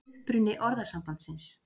Uppruni orðasambandsins